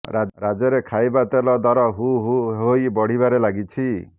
ରାଜ୍ୟରେ ଖାଇବା ତେଲ ଦର ହୁ ହୁ ହୋଇ ବଢିବାରେ ଲାଗିଛି